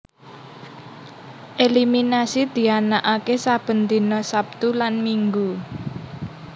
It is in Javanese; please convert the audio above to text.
Eliminasi dianaaké saben dina Sabtu lan Minggu